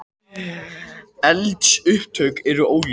Eldsupptök eru óljós